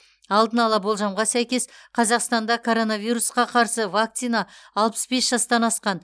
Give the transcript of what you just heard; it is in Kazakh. алдын ала болжамға сәйкес қазақстанда коронавирусқа қарсы вакцина алпыс бес жастан асқан